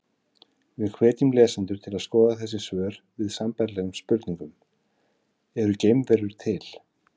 Við hvetjum lesendur til að skoða þessi svör við sambærilegum spurningum: Eru geimverur til?